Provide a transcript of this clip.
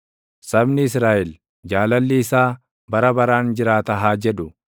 Sabni Israaʼel, “Jaalalli isaa bara baraan jiraata” haa jedhu.